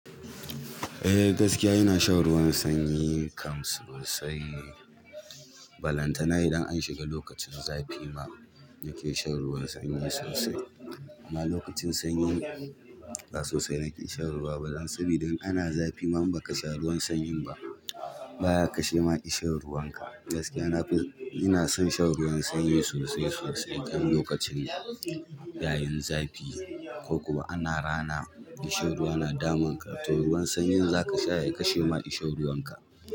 Eh gaskiya ina shan ruwan sanyi kam sosai balantana idan an shiga lokacin zafi ma nake shan ruwan sanyi sosai. Amma lokacin sanyi ba sosai nake shan ruwa ba. Dan sabida in ana zafi ma in baka sha ruwan sanyin ba, baya kashe ma ishin ruwan ka. Gaskiya na fi, ina son shan ruwan sanyi sosai sosai kan lokacin nan ya yin zafi ko kuma ana rana ishir ruwa na damun ka, to ruwan sanyin zaka sha ya kashe ma ishin ruwan ka.